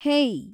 ಹೇಯ್